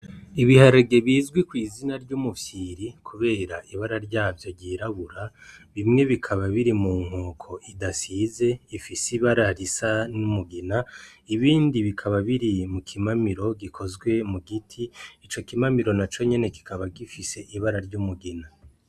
Ibiharage bizwi ku izina ry'umufyiri kubera ibara ryavyo ryirabura bimwe bikaba biri ku nkoko idasize ifise ibara ry'umugina ibindi bikaba biri mu kimamiro gikozwe mu giti ico kimamiro naco nyene kikaba gifise ibara ry'umugina.